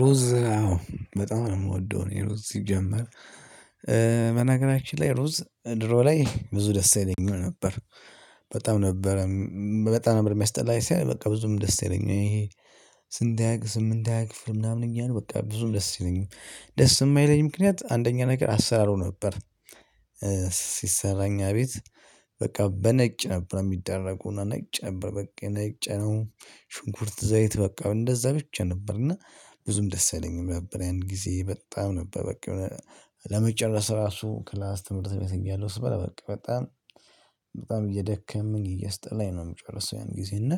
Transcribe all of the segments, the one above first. ሩዝ በጣም ነው ምወደው እኔ ሩዝ ሲጀመር በነገራችን ላይ ሩዝ ድሮ ላይ ብዙ ደስ አይለኝም ነበር። በጣም ነበረ በጣም ነበር የሚያስጠላኝ ሳይሆን በቃ ብዙም ደስ አይለኝም ይሄ። ስንት ስምንት ክፍል ምናምን እኛ ነው በቃ ብዙም ደስ አይለኝም ደስ የማይለኝ ምክንያት አንደኛ ነገር አሰራሮ ነበር። ሲሰራ እኛ ቤት በቃ በነጭ ነበር የሚደረገው ነጭ ነበር በቃ ነጭ ነው ሽንኩርት ዘይት በቃ እንደዛ ብቻ ነበር እና ብዙም ደስ አይለኝም ነበር። ያን ጊዜ በጣም ነበር በቃ ለመጨረስ ራሱ ክላስ ትምህርት ቤት እያለሁ ስበለ በቃ በጣም በጣም እየደከመኝ እያሰጠላኝ ነው የምጨርሰው። ያን ጊዜ እና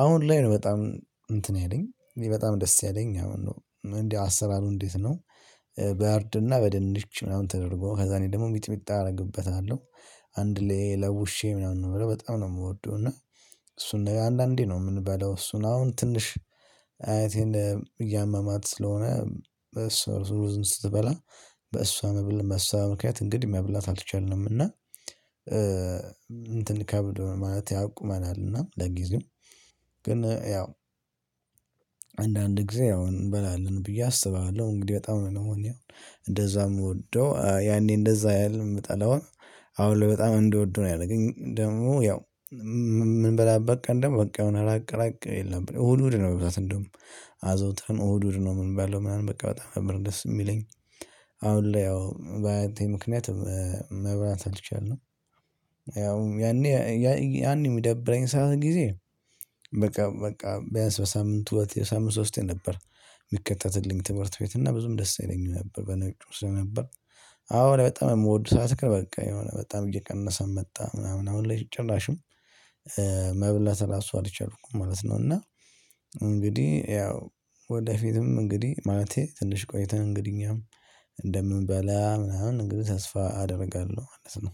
አሁን ላይ ነው በጣም እንትን ያለኝ በጣም ደስ ያለኝ አሁን ነው እንዴ አሰራሩ እንዴት ነው? በእርድና በድንች ምናምን ተደርጎ ከዛ እኔ ደግሞ ሚጥሚጣ አረግበታለሁ። አንድ ላይ ለውሼ ምናምን ነው በጣም ነው የምወደው። እና እሱን አንዳንዴ ነው ምንበላው እሱን አሁን ትንሽ አያቴን እያመማት ስለሆነ በእሷ ርዝም ስትበላ በእሷ መብል በሷ ምክንያት እንግዲህ መብላት አልቻልንም። እና እንትን ከብድ ማለት ያቁመናል። እና ለጊዜው ግን ያው አንዳንድ ጊዜ ያው እንበላለን ብዬ አስባለሁ። እንግዲህ በጣም ነው እኔ አንደዛ የምወደው ያኔ እንደዛ ያህል የምጠላው። አሁን ላይ በጣም እንድወደው ነው ያረገኝ ደግሞ ያው እምንበላበት ቀን ደግሞ በቃ የሆነ ራቅ ራቅ ይል ነበር እሁድ እሁድ ነው። በብዛት እንደውም አዘውትረን እሁድ እሁድ ነው እምንበላው ምናምን በቃ በጣም ነበር ደስ የሚለኝ። አሁን ላይ ያው በአያቴ ምክንያት መብላት አልቻልነም። ያውም ያኔ ያኔ የሚደብረኝ ሰዓት ጊዜ በቃ በቃ ቢያንስ በሳምንት ሁለቴ የሳምንት ሶስቴ ነበር። የሚከተትልኝ ትምህርት ቤት እና ብዙም ደስ ይለኛል ነበር በነጩ ስለነበር። አሁንላይ በጣም የምወአት በቃ የሆነ በጣም እየቀነሰ መጣ ምናምን አሁን ላይ ጭራሽም መብላት እራሱ አልቻልኩም ማለት ነው። እና እንግዲህ ያው ወደፊትም እንግዲህ ማለቴ ትንሽ ቆይተህ እንግዲህ እኛም እንደምንበላ ምናምን እንግዲህ ተስፋ አደርጋለሁ ማለት ነው።